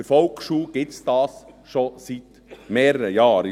Bei der Volksschule gibt es das schon seit mehreren Jahren.